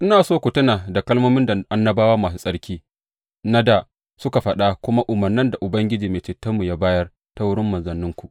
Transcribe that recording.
Ina so ku tuna da kalmomin da annabawa masu tsarki na dā suka faɗa da kuma umarnin da Ubangijinmu da Mai Cetonmu ya bayar ta wurin manzanninku.